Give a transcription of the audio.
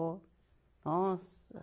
Ó. Nossa